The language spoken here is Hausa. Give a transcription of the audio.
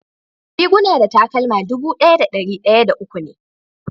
Riguna da takalma dubu daya da dari daya uwu me.